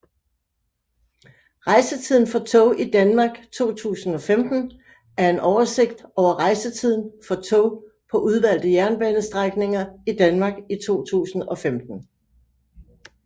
Rejsetiden for tog i Danmark 2015 er en oversigt over rejsetiden for tog på udvalgte jernbanestrækninger i Danmark i 2015